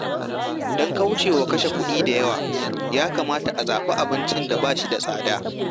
Don kauce wa kashe kuɗi da yawa, ya kamata a zaɓi abincin da ba shi da tsada.